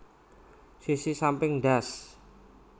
Sisi samping ndas